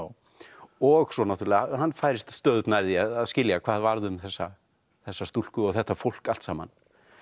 og svo náttúrulega hann færist stöðugt nær því að skilja hvað varð um þessa þessa stúlku og þetta fólk allt saman